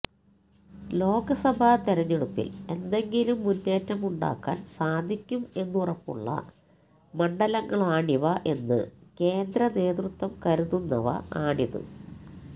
ലോകസഭാ തെരഞ്ഞെടുപ്പിൽ എന്തെങ്കിലും മുന്നേറ്റമുണ്ടാക്കാൻ സാധിക്കും എന്നുറപ്പുള്ള മണ്ഡലങ്ങളാണിവ എന്ന് കേന്ദ്ര നേതൃത്വം കരുതുന്നവ ആണിത്